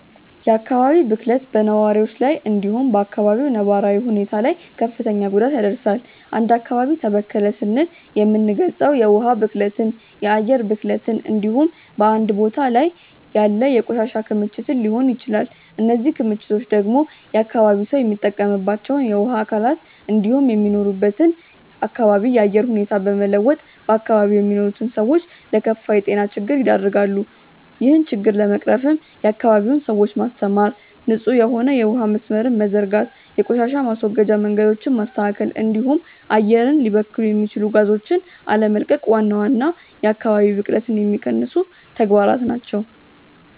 የአካባቢ ብክለት በነዋሪዎች ላይ እንዲሁም በ አካባቢው ነባራዊ ሁኔታ ላይ ክፍትን ጉዳት ያደርሳል። አንድ አካባቢ ተበከለ ስንል የምንልገጸው የውሀ ብክለትን፣ የአየር ብክለትን እንዲሁም በአንድ ቦታ ላይ ያለ የቆሻሻ ክምችትን ሊሆን ይችላል። እነዚህ ክምችቶች ደግሞ የአካባቢው ሰው የሚጠቀምባቸውን የውሀ አካላት እንዲሁም የሚኖርበትን አካባቢ የአየር ሁኔታ በመለወጥ በአካባቢው የሚኖሩትን ሰዎች ለከፋ የጤና ችግር ይደረጋሉ። ይህን ችግር ለመቅረፍም የአካባቢውን ሰዎች ማስተማር፣ ንጹህ የሆነ የውሀ መስመርን መዘርጋት፣ የቆሻሻ ማስወገጃ መንገዶችን ማስተካከል እንዲሁም አየር ሊበክሉ የሚችሉ ጋዞችን አለመቀቅ ዋና ዋና የአካባቢ ብክለትን የሚቀንሱ ተግባራት ናቸው።